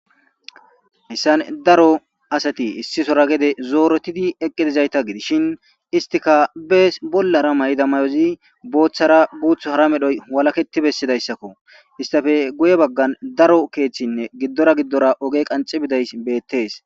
Hessan daro asati issisora gede zooretidi eqqidizayta gidishshin istika bees bollara mayda mayozi booththara guuth hara medhoy walaketi bessidayssakko istafe guye baggan daro keeththinne giddora giddora oge qanci biday beettes.